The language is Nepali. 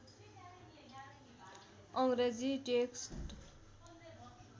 अङ्ग्रेजी टेक्स्ट